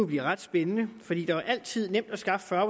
blive ret spændende for det er jo altid nemt at skaffe fyrre